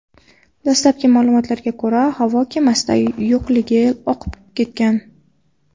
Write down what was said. Dastlabki ma’lumotlarga ko‘ra, havo kemasida yoqilg‘i oqib ketgan.